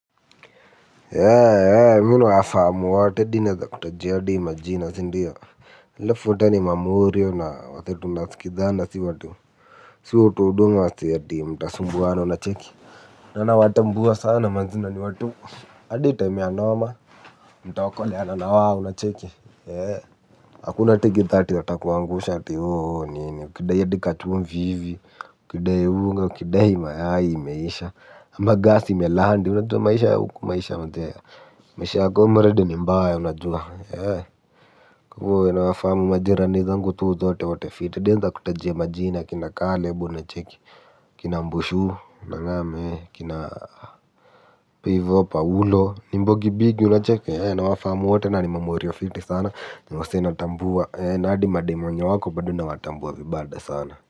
Mimi nawafahamu wote hadi naweza kutajia hadi majina sindio halafu wote ni mamorio na watu tunasikizana si watu si watu wauduu na wasee eti mtasumbuana unacheki na nawatambua sana manze na ni watu. Hadi time ya noma mtaokoleana na wao unacheki hakuna ati githaa watakuangusha ati oo oo nini ukidai hadi kachumvi hivi, ukidai unga, ukidai mayai imeisha ama gas imelandi unajua maisha ya huku maisha manze. Maisha ya comrade ni mbaya unajua. Kwa hivyo nawafahamu majirani zangu tu zote wote fiti. Nawenza kutajia majina akina Caleb unacheki. Akina Mbushu unangam akina hapo hivyo Paulo Ni mbogi bigi unacheki, nawafahamu wote na ni mamorio fiti sana. Ni wasee natambua, na hadi madem wenye wako bado nawatambua vibad sana.